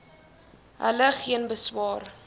hulle geen beswaar